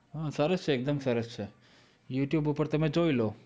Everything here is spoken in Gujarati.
હા સરસ છે એકદમ સરસ છે. youtube ઉપર તમે જોઈ લો.